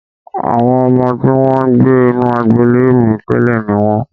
Àwọn ọmọ tí wọ́n ń gbé inú agbolé mi tẹ́lẹ̀ ni wọ́n